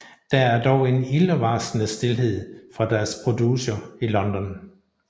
Der er dog en ildevarslende stilhed fra deres producer i London